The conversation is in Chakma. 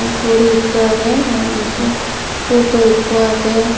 guri ikko agey manujo futu ikko agey.